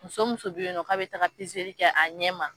Muso muso bɛ yen k'a bɛ taaga kɛ a ɲɛ ma.